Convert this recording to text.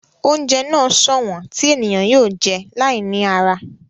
Oúnjẹ náà sọ̀wọ́n tí ènìyàn yóò jẹ́ láì ní ara